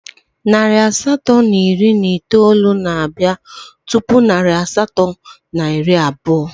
Narị asatọ na iri na itoolu na-abịa tupu narị asatọ na iri abụọ